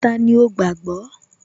Tani ó gbàágbọ́?